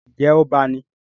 Ǹjẹ́ ọba ni?